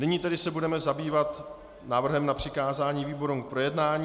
Nyní se tedy budeme zabývat návrhem na přikázání výborům k projednání.